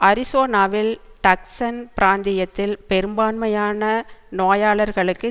அரிசோனாவில் Tucson பிராந்தியத்தில் பெரும்பான்மையான நோயாளர்களுக்கு